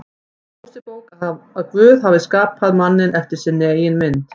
Mósebók að Guð hafi skapað manninn eftir sinni eigin mynd.